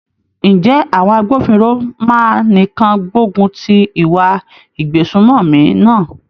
Ǹjẹ́ àwọn agbófinró máa nìkan gbógun ti ìwà ìgbésùmòmí náà?